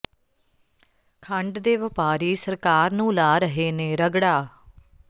ਖੰਡ ਦੇ ਵਪਾਰੀ ਸਰਕਾਰ ਨੂੰ ਲਾ ਰਹੇ ਨੇ ਰਗੜਾ